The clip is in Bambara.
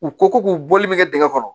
U ko ko k'u bɔli bɛ kɛ dingɛ kɔnɔ